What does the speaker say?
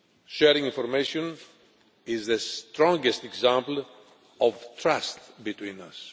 Sharing information is the strongest example of trust between us.